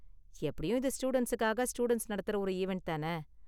எப்படியும் இது ஸ்டூடண்ட்ஸுக்காக ஸ்டூடண்ட்ஸ் நடத்துற ஒரு ஈவண்ட் தான?